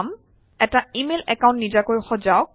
এটা email account নিজাকৈ সজাওক